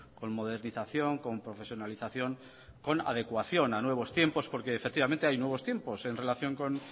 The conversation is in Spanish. con modernización con profesionalización con adecuación a nuevos tiempos porque efectivamente hay nuevos tiempos en relación con